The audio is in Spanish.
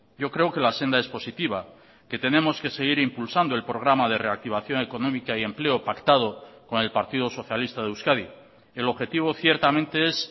yo creo que la senda es positiva que tenemos que seguir impulsando el programa de reactivación económica y empleo pactado con el partido socialista de euskadi el objetivo ciertamente es